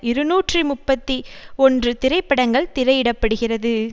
இருநூற்றி முப்பத்தி ஒன்று திரைப்படங்கள் திரையிடப்படுகிறது